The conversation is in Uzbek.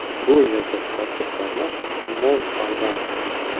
Bu yerda tadbirkorlar mo‘l foyda oladi.